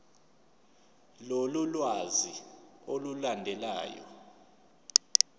lolu lwazi olulandelayo